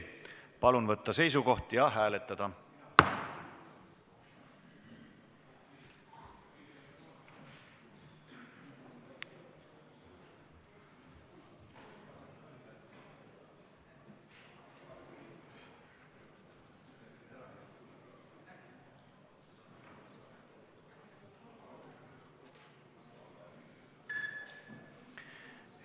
Palun võtta seisukoht ja hääletada!